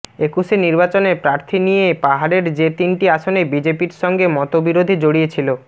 একুশের নির্বাচনে প্রার্থী নিয়ে পাহাড়ের যে তিনটি আসনে বিজেপির সঙ্গে মতবিরোধে জড়িয়েছিল